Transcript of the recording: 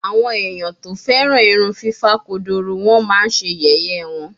Awon eyan to feran irun fifa kodoro won ma Se yeye won